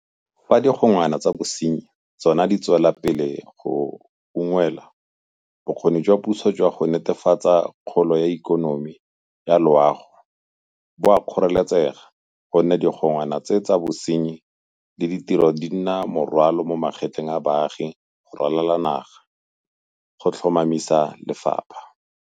Fa digongwana tsa bosenyi tsona di tswela pele go ungwelwa, bokgoni jwa puso jwa go netefatsa kgolo ya ikonomi ya loago bo a kgoreletsega gonne digongwa na tsa bosenyi le ditiro di nna morwalo mo magetleng a baagi go ralala naga go tlhoma misa lefapha.